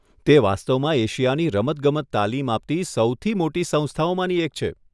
તે વાસ્તવમાં એશિયાની રમતગમત તાલીમ આપતી સૌથી મોટી સંસ્થાઓમાંની એક છે.